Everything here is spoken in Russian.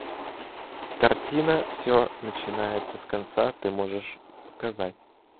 картина все начинается с конца ты можешь показать